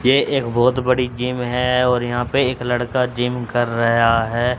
ये एक बहुत बड़ी जिम है और यहां पे एक लड़का जिम कर रहया है।